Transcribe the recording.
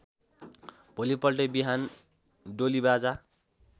भोलिपल्टै बिहान डोलीबाजा